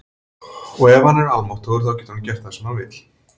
Og ef hann er almáttugur þá getur hann gert það sem hann vill.